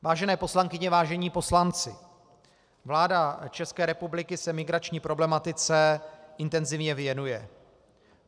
Vážené poslankyně, vážení poslanci, vláda České republiky se migrační problematice intenzivně věnuje.